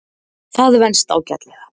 Það venst ágætlega.